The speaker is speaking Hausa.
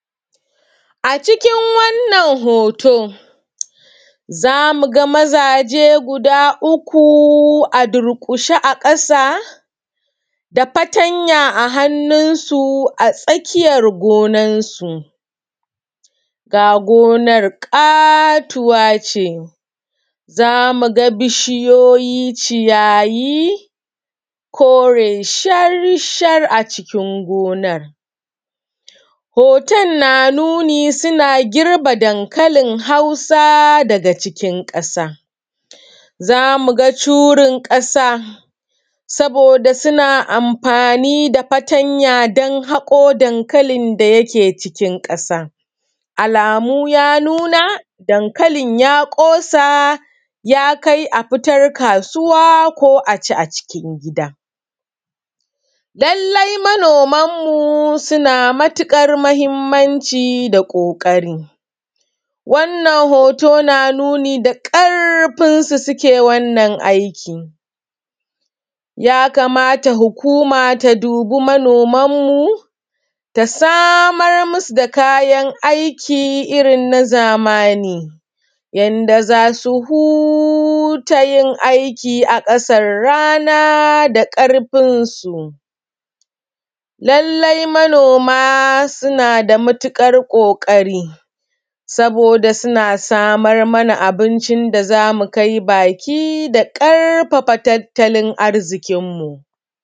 Acikin wannan hoto, zamu ga mazaje guda uku a durƙushe a ƙasa, da fartanya a hannunsu a tsakiyar gonansu, ga gonar ƙatuwa ce, za mu ga bishiyoyi, ciyayi, kore shar-shar acikin gonar. Hoton na nuni suna girbe dankalin Hausa daga cikin ƙasa, za mu ga curin ƙasa, saboda suna amfani da fartanya don haƙo dankalin da yake cikin ƙasa. Alamu ya nuna, dankalin ya ƙosa, ya kai a fitar a kai kasuwa ko a ci acikin gida. Lallai manoman mu sunaa matuƙar mahimmanci da ƙoƙari, wannan hoto na nuni da ƙarfinsu suke wannan aiki. Ya kamata hukuma ta dubi manomanmu ta samar masu da kayan aiki irin na zamani, yanda za su huta yin aiki a ƙasar rana da ƙarfinsu. Lallai manoma suna da matuƙar ƙoƙari, saboda suna samar mana abincin da zamu kai baki da ƙarfafa tattalin arziƙinmu.